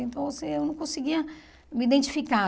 Então assim eu não conseguia me identificar.